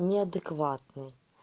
неадекватный